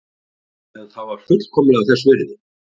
En það var fullkomlega þess virði.